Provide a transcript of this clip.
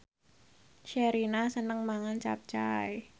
Sherina seneng mangan capcay